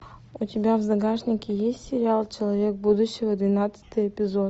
у тебя в загашнике есть сериал человек будущего двенадцатый эпизод